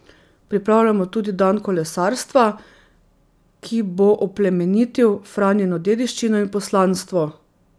Pripravljamo tudi dan kolesarstva, ki bo oplemenitil Franjino dediščino in poslanstvo.